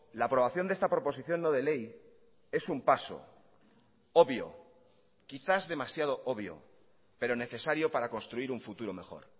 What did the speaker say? la aprobación de esta proposición no de ley es un paso obvio quizás demasiado obvio pero necesario para construir un futuro mejor